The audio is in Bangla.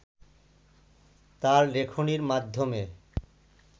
তার লেখনীর মাধ্যমে